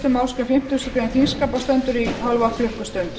málsgrein fimmtugustu grein þingskapa og stendur í hálfa klukkustund